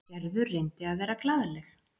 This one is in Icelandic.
Gerður reyndi að vera glaðleg.